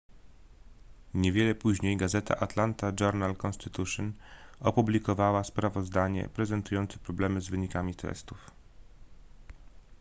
niewiele później gazeta atlanta journal-constitution opublikowała sprawozdanie prezentujące problemy z wynikami testów